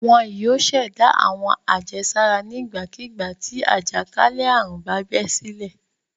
Wọn yóò ṣẹ̀dá àwọn àjẹsára nígbàkigbà tí àjàkálẹ̀ àrùn bá bẹ́ sílẹ̀.